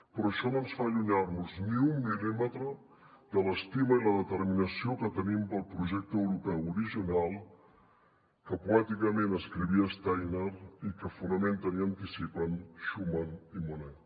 però això no ens fa allunyar nos ni un mil·límetre de l’estima i la determinació que tenim per al projecte europeu original que poèticament escrivia steiner i que fonamenten i anticipen schuman i monnet